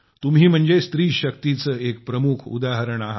तुम्ही म्हणजे स्त्रीशक्तीचं एक प्रमुख उदाहरण आहे